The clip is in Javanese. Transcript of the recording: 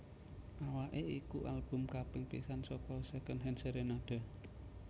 Awake iku album kaping pisan saka Secondhand Serenade